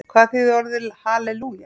Hvað þýðir orðið halelúja?